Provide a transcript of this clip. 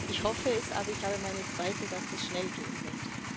Ich hoffe es, aber ich habe meine Zweifel, dass es schnell gehen wird.